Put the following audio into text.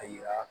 A yira